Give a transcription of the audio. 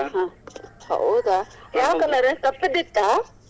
ಹ್ಮ ಹೌದಾ ಯಾವ colour ಕಪ್ಪದ್ದು ಇತ್ತಾ?